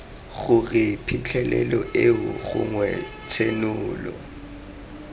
gore phitlhelelo eo gongwe tshenolo